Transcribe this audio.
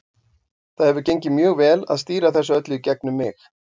Það hefur gengið mjög vel að stýra þessu öllu í gegnum mig.